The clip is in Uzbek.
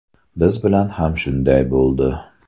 Biz bilan ham shunday bo‘ldi.